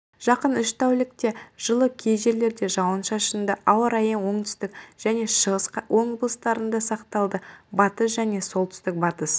жақын үш тәулікте жылы кей жерлерде жауын-шашынды ауа-райы оңтүстік және шығыс облыстарында сақталады батыс және солтүстік-батыс